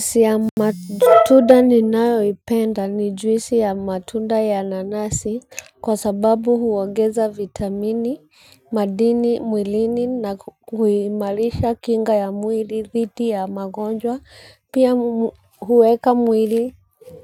Juisi ya matunda ninayoipenda ni juisi ya matunda ya nanasi kwa sababu huongeza vitamini, madini, mwilini na kuimarisha kinga ya mwili, dhidi ya magonjwa, pia huweka mwili